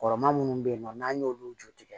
Kɔrɔma minnu bɛ yen nɔ n'an y'olu jɔ tigɛ